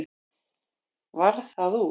Varð það úr.